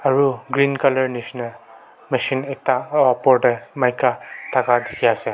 eru green colour misna mechine ekta o opor teh maika thaka ase.